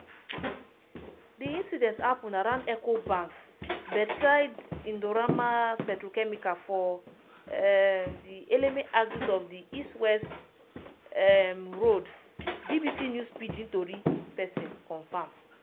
di incident happun around eco bank bedside indorama petrochemical for um di eleme axis of di east west um road bbc news pigdin tori pesin confam.